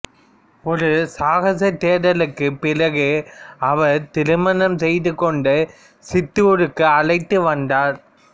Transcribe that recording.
ஒரு சாகச தேடலுக்குப் பிறகு அவர் திருமணம் செய்ந்து கொண்டு சித்தோருக்கு அழைத்து வந்தார்